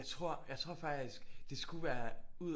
Jeg tror jeg tror faktisk det skulle være ud